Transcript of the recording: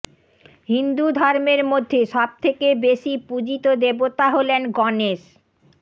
হিন্দু ধর্মের মধ্যে সবথেকে বেশি পূজিত দেবতা হলেন গণেশ